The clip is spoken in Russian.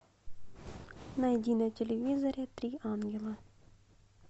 найди на телевизоре три ангела